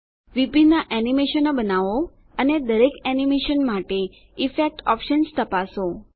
વિભિન્ન એનીમેશનો બનાવો અને દરેક એનીમેશન માટે ઇફેક્ટ ઓપ્શન્સ તપાસો